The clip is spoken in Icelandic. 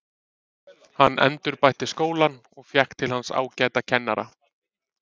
Hann endurbætti skólann og fékk til hans ágæta kennara.